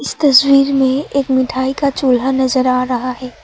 इस तस्वीर में एक मिठाई का चुरा नजर आ रहा है।